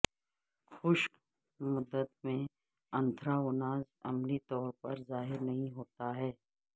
خشک مدت میں انتھراوناز عملی طور پر ظاہر نہیں ہوتا ہے